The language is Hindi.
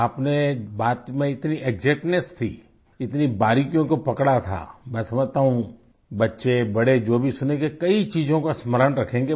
आपने बात में इतनी एक्जैक्टनेस थी इतनी बारीकियों को पकड़ा था मैं समझता हूँ बच्चे बड़े जो भी सुनेंगे कई चीजों का स्मरण रखेंगे